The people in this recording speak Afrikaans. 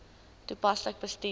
toepaslik bestuur